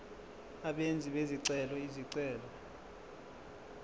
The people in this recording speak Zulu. abenzi bezicelo izicelo